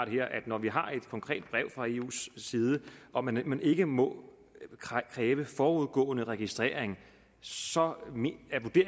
når vi har et konkret brev fra eus side om at man ikke må kræve forudgående registrering så